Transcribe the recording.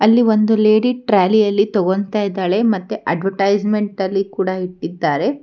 ಅಲ್ಲಿ ಒಂದು ಲೇಡಿ ಟ್ರಾಲಿಯಲ್ಲಿ ತಗೊಂತ ಇದ್ದಾಳೆ ಮತ್ತೆ ಅಡ್ವಟೈಸ್ಮೆಂಟ್ ಅಲ್ಲಿ ಕೂಡ ಇಟ್ಟಿದ್ದಾರೆ.